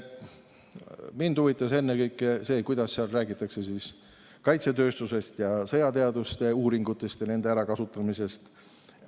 Mind huvitas ennekõike see, kuidas seal räägitakse kaitsetööstusest ja sõjateaduste uuringutest ja nende kasutamisest.